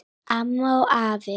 Amma og afi.